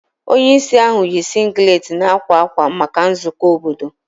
Onye isi ahụ yi singlet na akwa akwa maka nzukọ obodo.